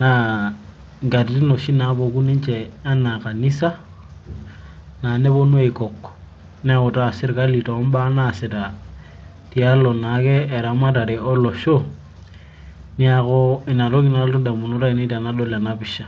naa inkatitin oshi naapuku ninche anaa kanisa, nepuonu aikok. neutaa sirkali too baa naasita tiatua naake ibaa naipirta eramatare olosho, neeku ina adau tenadol ena pisha.